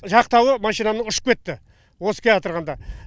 жақтауы машинаның ұшып кетті осы келеатырғанда